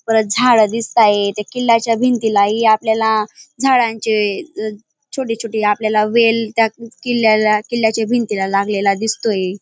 परत झाड दिसताये त्या किल्ल्याच्या भिंतीला ही आपल्याला झाडांचे छोटे छोटे आपल्याला वेल त्या किल्याला किल्ल्याच्या भिंतीला लागलेला दिसतोय.